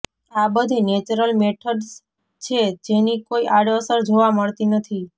આ બધી natural methods છે જેની કોઈ આડ અસર જોવા મળતી નથી